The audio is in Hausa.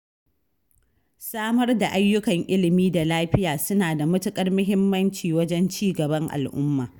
Samar da ayyukan ilimi da lafiya suna da matuƙar muhimmanci wajen cigaban al'umma.